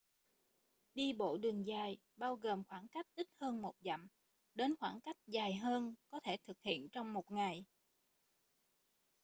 đi bộ đường dài bao gồm khoảng cách ít hơn một dặm đến khoảng cách dài hơn có thể thực hiện trong một ngày